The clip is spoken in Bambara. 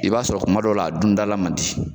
I b'a sɔrɔ kuma dɔw la a dundala man di.